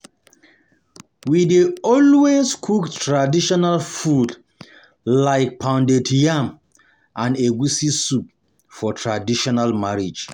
We dey always cook traditional food like pounded yam and egusi soup for traditional marriage.